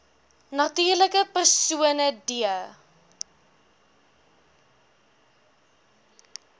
natuurlike persone d